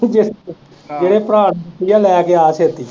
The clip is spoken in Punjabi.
ਜਿਹੜੇ ਭਰਾ ਨੂੰ ਦਿੱਤੀ ਆ ਲੈ ਕੇ ਆ ਛੇਤੀ।